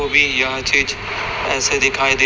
वो भी यह चीज ऐसे दिखाई दे--